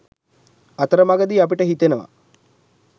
අතරමගදී අපිට හිතෙනවා